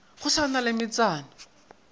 go sa na le metsana